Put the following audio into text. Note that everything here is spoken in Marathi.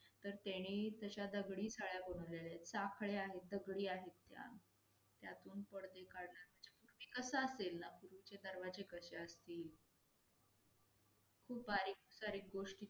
तर त्यानी तश्या दगडी सळ्या बनवलेल्या, साखळ्या आहेत, दगडी आहेत त्या. त्यातून पदडे कडून याच्यापूर्वी कस असेल, यापूर्वी चे दरवाजे कशे असतील? खूप बारीकसारीक गोष्टी